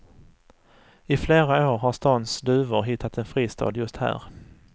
I flera år har stans duvor hittat en fristad just här.